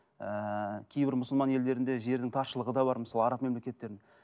ііі кейбір мұсылман елдерінде жердің таршылығы да бар мысалы араб мемлекеттерінің